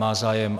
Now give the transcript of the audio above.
Má zájem?